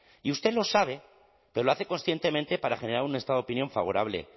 y usted lo sabe pero lo hace conscientemente para generar un estado de opinión favorable